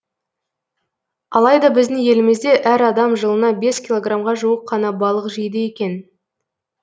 алайда біздің елімізде әр адам жылына бес килограммға жуық қана балық жейді екен